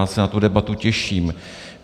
Já se na tu debatu těším.